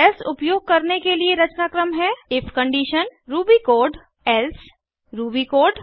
else उपयोग करने के लिए रचनाक्रम है if condition Ruby code else Ruby code